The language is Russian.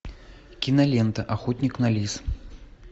кинолента охотник на лис